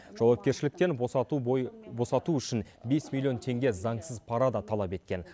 жауапкершіліктен босату босату үшін бес миллион теңге заңсыз пара да талап еткен